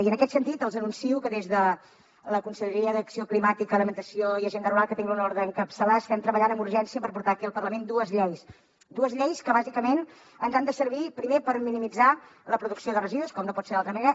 i en aquest sentit els anuncio que des de la conselleria d’acció climàtica alimentació i agenda rural que tinc l’honor d’encapçalar estem treballant amb urgència per portar aquí al parlament dues lleis dues lleis que bàsicament ens han de servir primer per minimitzar la producció de residus com no pot ser d’altra manera